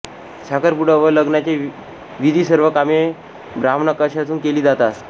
साखरपुडा व लग्नाचे विधी सर्व कामे ब्राह्मणाकशून केली जातात